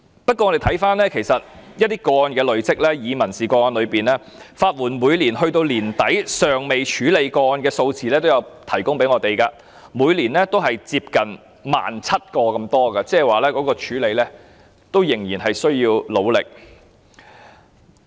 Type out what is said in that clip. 不過，我們發現有一些個案累積，以民事個案為例，法援署每年及至年底尚未處理的個案數字也有提供，是每年接近 17,000 宗，這表示法援署仍然需要努力處理。